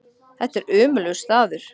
Þetta er ömurlegur staður.